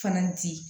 Fana di